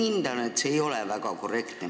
Ma hindan, et see ei ole väga korrektne.